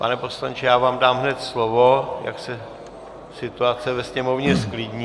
Pane poslanče, já vám dám hned slovo, jak se situace ve sněmovně zklidní.